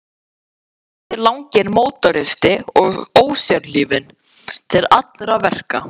Hann þótti laginn mótoristi og ósérhlífinn til allra verka.